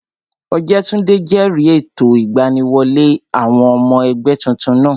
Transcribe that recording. Ọ̀jẹ́túndé jẹ̀rìí ètò ìgbaniwọlé àwọn ọmọ ẹgbẹ́ tuntun náà